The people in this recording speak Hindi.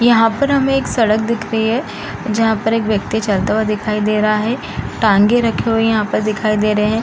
यहाँ पर हमें एक सड़क दिख रही है जहाँ पर एक व्यक्ति चलता हुआ दिखाई दे रहा है टांगे रखे हुए यहाँ पर दिखाई दे रहे हैं।